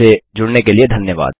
हमसे जुड़ने के लिए धन्यवाद